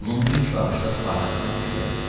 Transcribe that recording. Onun ilk baxışda Spartakdan xoşu gəldi.